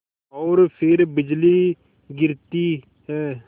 और फिर बिजली गिरती है